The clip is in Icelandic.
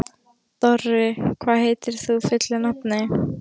Dorri, hvað heitir þú fullu nafni?